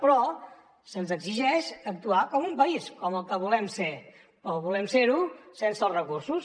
però se’ns exigeix actuar com un país com el que volem ser sense els recursos